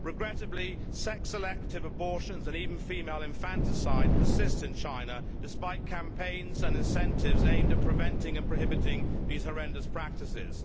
Regrettably, sex selective abortions and even female infanticide persist in China, despite campaigns and incentives aimed at preventing and prohibiting these horrendous practices.